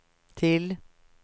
till